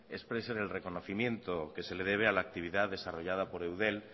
expresen el reconocimiento que se le debe a la actividad desarrollada por eudel